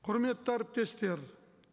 құрметті әріптестер